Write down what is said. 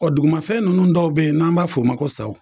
Dugumafɛn nunnu dɔw be yen n'an b'a f'o ma ko saw